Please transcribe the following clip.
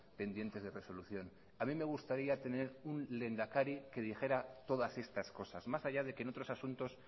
pendientes de resolución a mí me gustaría tener un lehendakari que dijera todas estas cosas más allá de que en otros asuntos